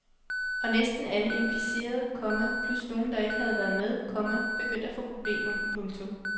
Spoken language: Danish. Og næsten alle implicerede, komma plus nogen der ikke havde været med, komma begyndte at få problemer. punktum